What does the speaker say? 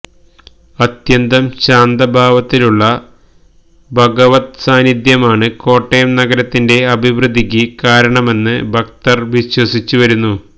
അത്യന്തം ശാന്തഭാവത്തിലുള്ള ഭഗവദ്സാന്നിദ്ധ്യമാണ് കോട്ടയം നഗരത്തിന്റെ അഭിവൃദ്ധിയ്ക്ക് കാരണമെന്ന് ഭക്തർ വിശ്വസിച്ചുവരുന്നു